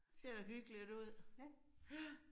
Ser da hyggeligt ud. Ja